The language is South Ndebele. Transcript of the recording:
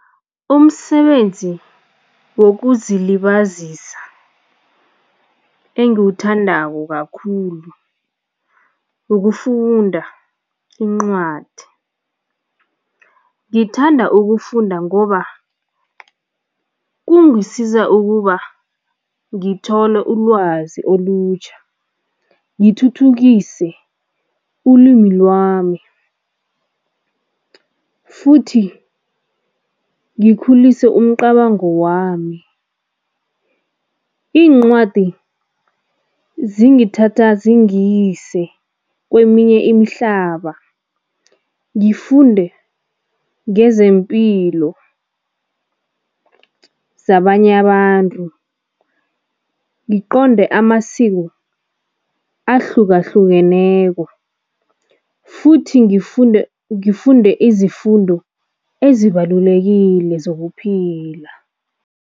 Umsebenzi wokuzilibazisa engiwuthandako kakhulu ukufunda incwadi. Ngithanda ukufunda ngoba kungisiza ukuba ngithole ulwazi olutjha, ngithuthukise ulwimi lwami futhi ngikhulise umcabango wami. Iincwadi zingathatha zingiyise kweminye imihlaba, ngifunde ngezempilo zabanye abantu, ngiqonde amasiko ahlukahlukeneko futhi ngifunde izifundo ezibalulekile zokuphila.